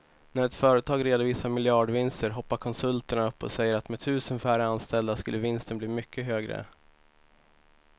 När ett företag redovisar miljardvinster hoppar konsulterna upp och säger att med tusen färre anställda skulle vinsten bli mycket högre.